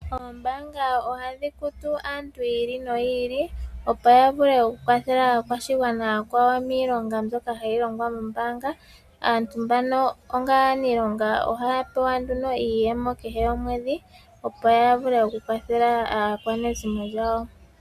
Oombaanga ohadhi kutu aantu yiili no yiili. Opo ya vule oku kwathela aakwashigwana aakwawo miilonga mbyoka hayi longwa mombaanga. Aantu mbano onga aaniilonga ohaya pewa nduno iiyemo kehe komwedhi opo ya vule oku kwathela aakwanezimo lyawo.